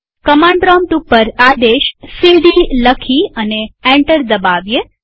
command prompt ઉપર આદેશ CD લખી અને એન્ટર દબાવીએ